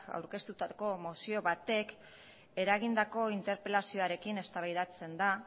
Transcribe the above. aurkeztutako mozio batek eragindako interpelazioarekin eztabaidatzen da